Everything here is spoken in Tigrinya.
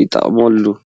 ይጥቀምሎም።